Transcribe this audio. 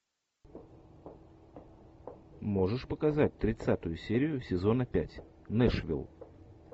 можешь показать тридцатую серию сезона пять нэшвилл